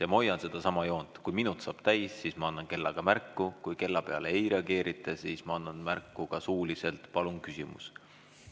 Ja ma hoian sedasama joont: kui minut saab täis, siis ma annan kellaga märku, kui kella peale ei reageerita, siis ma annan märku ka suuliselt: "Palun küsimus!